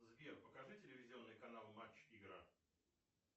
сбер покажи телевизионный канал матч игра